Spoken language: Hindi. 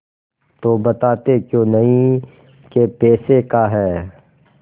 तो बताते क्यों नहीं कै पैसे का है